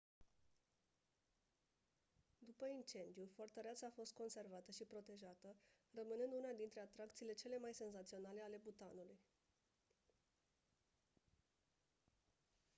după incendiu fortăreața a fost conservată și protejată rămânând una dintre atracțiile cele mai senzaționale ale bhutanului